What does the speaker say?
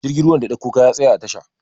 jirgin ruwan da ya ɗauko kaya ya tsaya a tasha